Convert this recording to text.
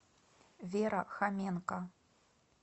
вера хоменко